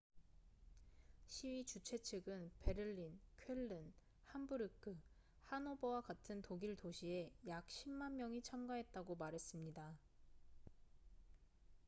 시위 주최 측은 베를린 쾰른 함부르크 하노버와 같은 독일 도시에 약 10만 명이 참가했다고 말했습니다